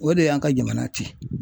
O de y'an ka jamana cɛn.